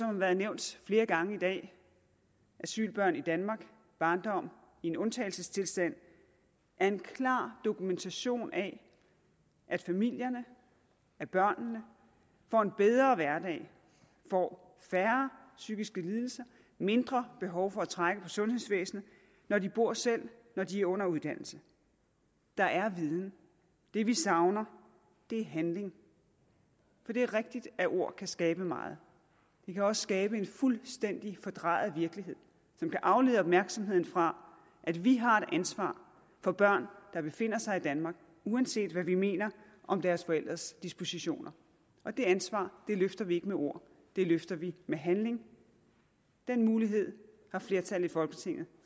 har været nævnt flere gange i dag asylbørn i danmark en barndom i undtagelsestilstand er en klar dokumentation af at familierne at børnene får en bedre hverdag får færre psykiske lidelser mindre behov for at trække på sundhedsvæsenet når de bor selv når de under uddannelse der er viden det vi savner er handling for det er rigtigt at ord kan skabe meget de kan også skabe en fuldstændig fordrejet virkelighed som kan aflede opmærksomheden fra at vi har et ansvar for børn der befinder sig i danmark uanset hvad vi mener om deres forældres dispositioner og det ansvar løfter vi ikke med ord det løfter vi med handling den mulighed har flertallet i folketinget